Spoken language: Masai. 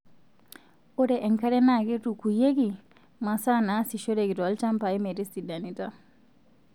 Ore enkare naa keitukuyieki masaa naasishoreki tolchanpai metisidanita.